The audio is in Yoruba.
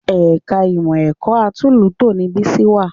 Ẹ̀ka ìmọ̀ ẹ̀kọ́ atúnlùútò ni Bísí wà